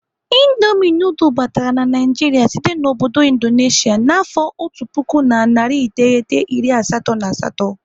Indomi nudul batara na Naịjiria site n'obodo Indonesia n'afọ otu puku na narị iteghete iri asatọ na asatọ.